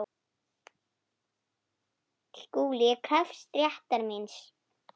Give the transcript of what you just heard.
SKÚLI: Ég krefst réttar míns.